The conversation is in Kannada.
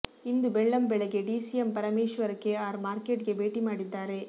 ಇಂದು ಬೆಳ್ಳಂಬೆಳಗ್ಗೆ DCM Parameshwar K R market ಗೆ ಭೇಟಿ ಮಾಡಿದ್ದಾರೆ